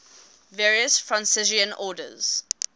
various franciscan orders